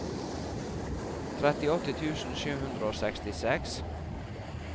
trettiåtte tusen sju hundre og sekstiseks